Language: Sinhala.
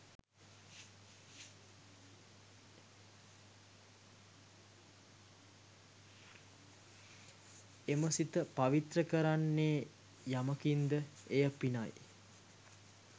එම සිත පවිත්‍ර කරන්නේ යමකින්ද එය පිනයි.